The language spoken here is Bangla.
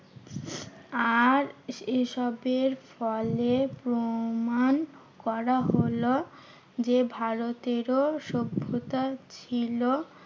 আর এসবের ফলে প্রমান করা হলো যে ভারতেরও সভ্যতার ছিল।